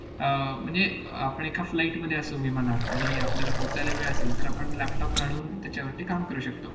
अह म्हणजे अह आपण एका flight मध्ये असो विमानात आणि आपल्याला पोचायला वेळ असेल, तर आपण laptop काढून त्याच्यावरती काम करू शकतो.